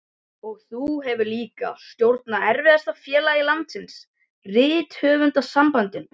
Og þú hefur líka stjórnað erfiðasta félagi landsins, Rithöfundasambandinu.